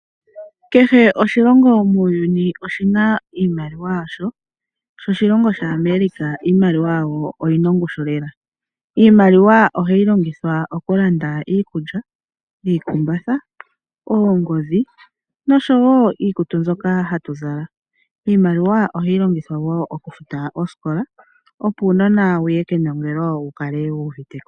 Kehe oshilongo muuyuni oshi na iimaliwa yasho, sho oshilongo shaAmerica iimaliwa yasho oyi na ongushu lela. Iimaliwa ohayi longithwa okulanda iikulya, iikumbatha, oongodhi nosho wo iikutu mbyoka hatu zala. Iimaliwa ohayi longithwa wo okufuta osikola, opo uunona wu ye kenongelo wu kale wu uvite ko.